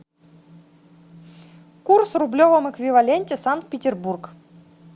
курс в рублевом эквиваленте санкт петербург